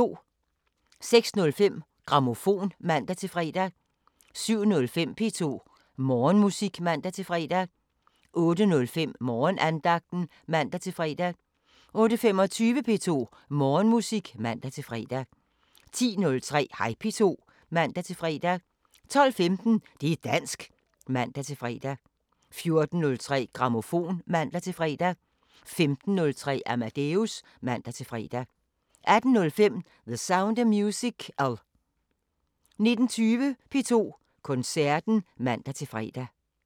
06:05: Grammofon (man-fre) 07:05: P2 Morgenmusik (man-fre) 08:05: Morgenandagten (man-fre) 08:25: P2 Morgenmusik (man-fre) 10:03: Hej P2 (man-fre) 12:15: Det´ dansk (man-fre) 14:03: Grammofon (man-fre) 15:03: Amadeus (man-fre) 18:05: The Sound of Musical 19:20: P2 Koncerten (man-fre)